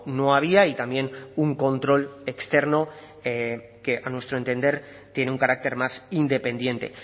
no había y también un control externo que a nuestro entender tiene un carácter más independiente